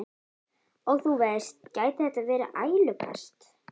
Og þú veist, gæti þetta verið ælupest?